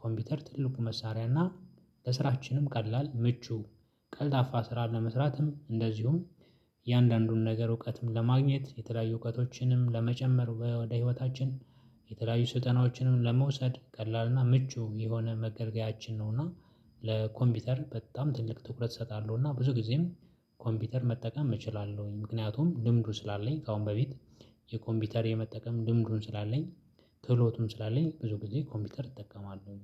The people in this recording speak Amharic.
ኮምቢተር ትልቁ መሳሪያና ለስራችንም ቀላል ምቹ ቀልጣፋ ስራ ለመስራትም እንደዚሁ። እያንዳንዱን ነገር እውቀትም ለማግኘት የተለያዩ እውቀቶችንም ለመጨመር ወደ ህይወታችን የተለያዩ ስልጠናዎችንም ለመውሰድ ቀላልና ምቹ የሆነ መገልገያችን ነው። እና ለኮምቢተር በጣም ትልቅ ትኩረት እሰጣለሁ እና ብዙ ግዜም ኮምቢተር መጠቀም እችላለሁኝ። ምክንያቱም ልምዱ ስላለኝ ከአሁን በፊት የኮምቢተር የመጠቀም ልምዱም ስላለኝ ክህሎዎቱም ስላለኝ ብዙ ግዜ ኮምቢተር እጠቀማለው